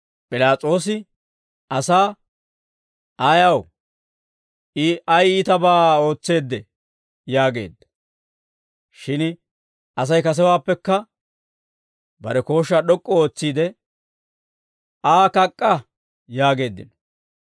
P'ilaas'oosi asaa, «Ayaw? I ay iitabaa ootseedee?» yaageedda. Shin Asay kasewaappekka bare kooshshaa d'ok'k'u ootsiide, «Aa kak'k'a» yaageeddino.